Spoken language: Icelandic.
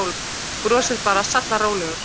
Brosir bara, sallarólegur.